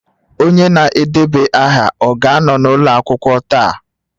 Onye na-edeba aha ọ ga-anọ n'ụlọ akwụkwọ taa?